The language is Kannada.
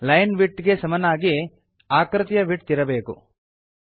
ಲೈನ್ ವಿಡ್ತ್ ಗೆ ಸಮಾನವಾಗಿ ಆಕೃತಿಯ ವಿಡ್ತ್ ಇರಬೇಕು